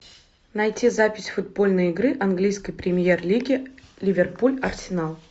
найти запись футбольной игры английской премьер лиги ливерпуль арсенал